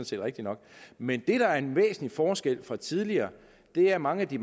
set rigtigt nok men det der er en væsentlig forskel fra tidligere er at mange af de